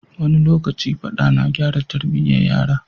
Wani lokaci Faɗa na gyara Tarbiyya yaro